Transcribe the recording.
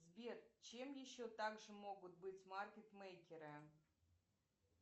сбер чем еще также могут быть маркет мейкеры